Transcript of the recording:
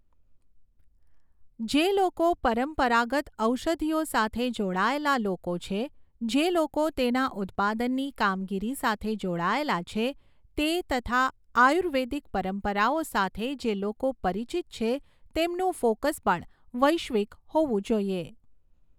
જે લોકો પરંપરાગત ઔષધિઓ સાથે જોડાયેલા લોકો છે, જે લોકો તેના ઉત્પાદનની કામગીરી સાથે જોડાયેલા છે તે તથા આયુર્વેદિક પરંપરાઓ સાથે જે લોકો પરિચીત છે તેમનું ફોકસ પણ વૈશ્વિક હોવું જોઈએ.